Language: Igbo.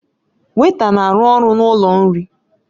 Weịta na-arụ ọrụ n'ụlọ nri